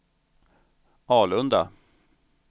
Alunda